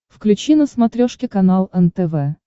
включи на смотрешке канал нтв